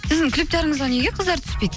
сіздің клиптеріңізге неге қыздар түспейді